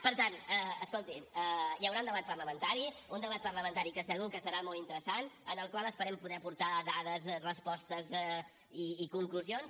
per tant escolti hi haurà un debat parlamentari un debat parlamentari que segur que serà molt interessant en el qual esperem poder aportar dades respostes i conclusions